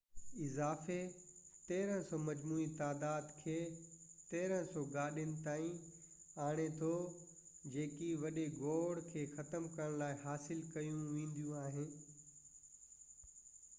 اضافي 300 مجموعي تعداد کي 1،300 گاڏين تائين آڻي ٿو جيڪي وڏي گوڙ کي ختم ڪرڻ لاءِ حاصل ڪيون وينديون